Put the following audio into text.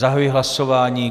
Zahajuji hlasování.